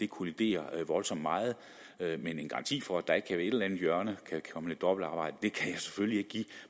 kollidere voldsomt meget men en garanti for at der ikke i et eller andet hjørne kan komme lidt dobbeltarbejde kan jeg selvfølgelig ikke give